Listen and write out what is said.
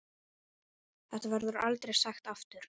Þetta verður aldrei sagt aftur.